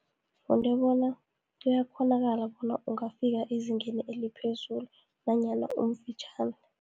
Bona kuyakghonakala bona ungafika ezingeni eliphezulu, nanyana umfitjhani.